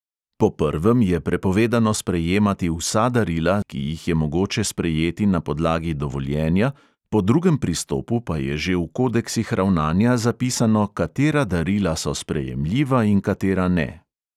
Po prvem je prepovedano sprejemati vsa darila, ki jih je mogoče sprejeti na podlagi dovoljenja, po drugem pristopu pa je že v kodeksih ravnanja zapisano, katera darila so sprejemljiva in katera ne.